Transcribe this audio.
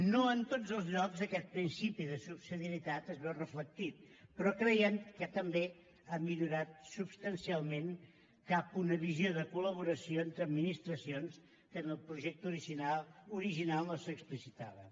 no en tots els llocs aquest principi de subsidiarietat es veu reflectit però creiem que també ha millorat substancialment cap a una visió de col·laboració entre administracions que en el projecte original no s’explicitava